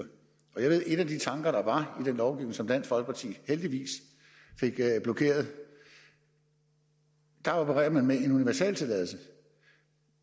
og jeg ved at en af de tanker der var i den lovgivning som dansk folkeparti heldigvis fik blokeret var at operere med en universaltilladelse